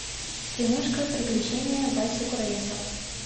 киношка приключения васи куралесова